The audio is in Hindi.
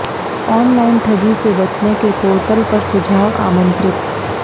ऑनलाइन ठगी से बचने के पोर्टल पर सुझाव आमंत्रित